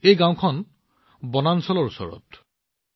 এই গাওঁখন বনাঞ্চলৰ ওচৰত আছে